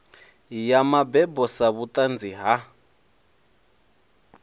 ya mabebo sa vhuṱanzi ha